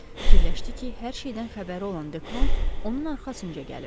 Fikirləşdi ki, hər şeydən xəbəri olan Dekron onun arxasınca gəlib.